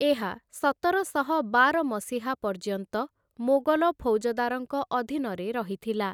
ଏହା ସତରଶହ ବାର ମସିହା ପର୍ଯ୍ୟନ୍ତ ମୋଗଲ ଫୌଜଦାରଙ୍କ ଅଧୀନରେ ରହିଥିଲା ।